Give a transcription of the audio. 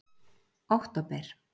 október